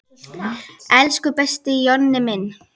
Elsku besti Jonni minn.